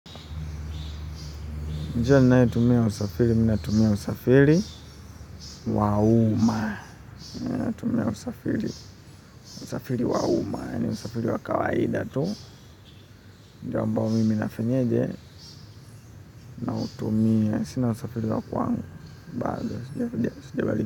Njia ninayo tumia ya usafiri, ninatumia usafiri wa uma. Ninatumia usafiri, usafiri wa uma. Usafiri wa kawaida tu njia ambao mimi nafenyeje, nautumia. Sina usafiri wa kwangu. Bado, sijabali.